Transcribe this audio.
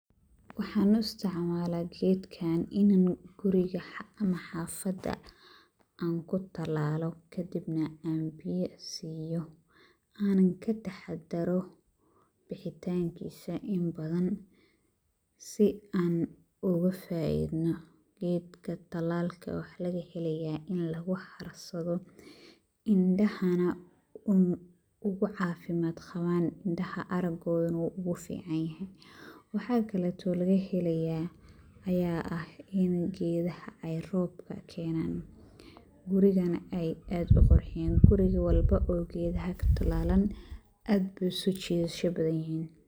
Waxaan u istacmaalaa geedkan in aan guriga ama xaafada aan ku talaalo kadibna aan biya siiyo aanan ka taxdaro bixitaankiisa inbadan si aan ugu faaidno. Geedka talaalka waxaa laga helayaa in lagu harsado hindhahaana ugu caafimaad qabaan hindhaha aragoodana u ficaanyahay. Waxaa kaleeto laga heleyaa ayaa ah in geedaha ai roobka keenaan gurigana ai aad u qurxiyaan. Guri walba oo geedaha ka talaalan aad buu u soo jiidasha badan yihiin.